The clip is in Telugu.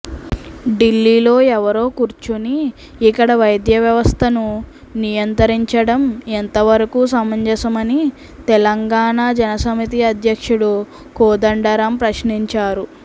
ఢిల్లీలో ఎవరో కూర్చుని ఇక్కడ వైద్య వ్యవస్థను నియంత్రించడం ఎంతవరకు సమంజసమని తెలంగాణ జనసమితి అధ్యక్షుడు కోదండరాం ప్రశ్నించారు